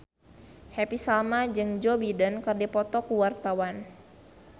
Happy Salma jeung Joe Biden keur dipoto ku wartawan